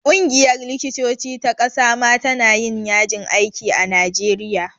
Ƙungiyar likitoci ta ƙasa ma ta na yin yajin aiki a najeriya